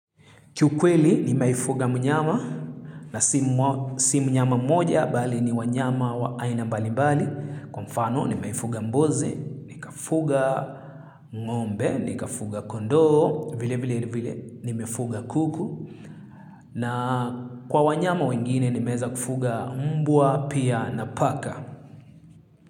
Kiukweli nimewahi fuga mnyama na si mnyama mmoja bali ni wanyama wa aina mbali mbali. Kwa mfano nimewahi fuga mbuzi, nikafuga ngombe ni kafuga kondoo vilevile nimefuga kuku. Na kwa wanyama wengine nimeweza kufuga mbwa pia na paka.